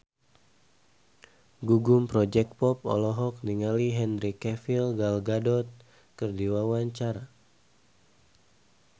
Gugum Project Pop olohok ningali Henry Cavill Gal Gadot keur diwawancara